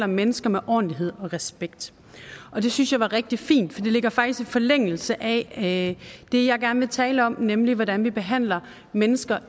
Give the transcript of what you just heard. mennesker med ordentlighed og respekt det synes jeg var rigtig fint ligger faktisk i forlængelse af det jeg gerne vil tale om nemlig hvordan vi behandler mennesker